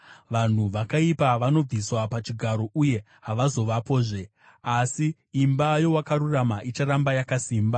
Vanhu vakaipa vanobviswa pachigaro uye havazovapozve, asi imba yowakarurama icharamba yakasimba.